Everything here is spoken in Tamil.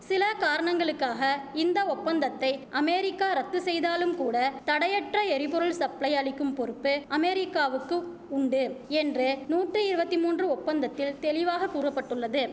சில காரணங்களுக்காக இந்த ஒப்பந்தத்தை அமேரிக்கா ரத்து செய்தாலும்கூட தடையற்ற எரிபொருள் சப்ளை அளிக்கும் பொறுப்பு அமேரிக்காவுக்கு உண்டு என்று நூட்டி இருவத்தி மூன்று ஒப்பந்தத்தில் தெளிவாக கூற பட்டுள்ளது